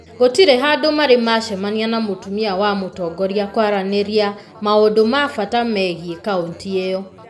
gũtirĩ handũ marĩ macemania na mũtumia wa mũtongoria kwaranĩria maũndũ ma bata megiĩ kauntĩ ĩyo.